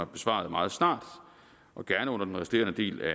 besvaret meget snart og gerne under den resterende del af